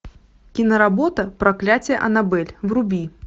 киноработа проклятие аннабель вруби